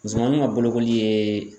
Musomaniw ka bolokoli yeee